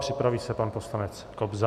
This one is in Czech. Připraví se pan poslanec Kobza.